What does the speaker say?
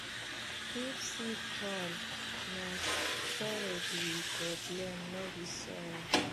if seed fail na storage we go blame no be soil